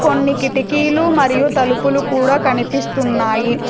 కొన్ని కిటికీలు మరియు తలుపులు కూడా కనిపిస్తున్నాయి.